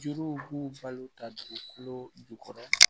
Juruw b'u balo ta dugukolo jukɔrɔ